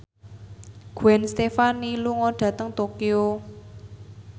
Gwen Stefani lunga dhateng Tokyo